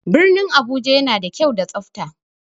Birnin Abuja yana da kyau da tsafta.